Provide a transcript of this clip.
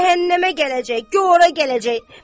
Cəhənnəmə gələcək, gor ora gələcək.